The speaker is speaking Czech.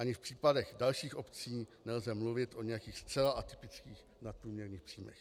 Ani v případech dalších obcí nelze mluvit o nějakých zcela atypických nadprůměrných příjmech.